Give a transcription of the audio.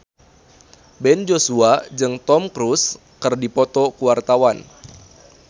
Ben Joshua jeung Tom Cruise keur dipoto ku wartawan